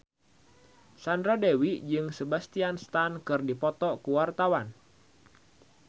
Sandra Dewi jeung Sebastian Stan keur dipoto ku wartawan